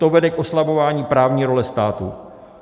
To vede k oslabování právní role státu.